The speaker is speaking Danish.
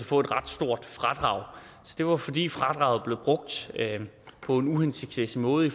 få et ret stort fradrag så det var fordi fradraget blev brugt på en uhensigtsmæssig måde i